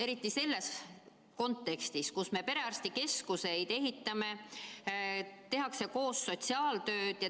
Eriti selles kontekstis, kus me ehitame perearstikeskuseid ja koos tehakse sotsiaaltööd.